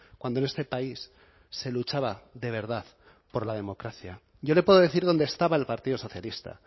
cuando en este país se luchaba de verdad por la democracia yo le puedo decir dónde estaba el partido socialista